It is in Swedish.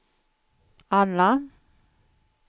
alla